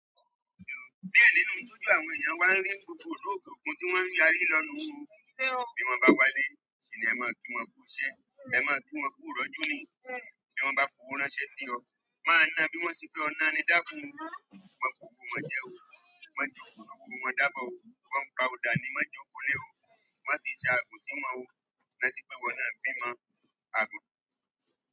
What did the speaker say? Ní ẹ̀yìn nínú ìtọ́jú àwọn èèyàn wá ń rí gbogbo òdòdó ogun tí wọ́n ń yari lọ nu wó. Bí wọn bá wálé, ṣìní ẹ máa kí wọn kú iṣẹ́, ẹ máa kí wọn kú ìrọ́jú ni. Bí wọn bá fòwó ránṣẹ́ sí ọ, máa na bí wọ́n ṣe fẹ́ ọ̀nà ni dákún. Wọn ko owò wọn jẹ́ o, mọ́ ji òwò òògùn máa dábọ́ o, wọ́n pa ọ̀dà ni má jọ òkú lé o, wọ́n fi ṣà gùn sí wọn o, rántí pé iwọ náà bímọ gbà.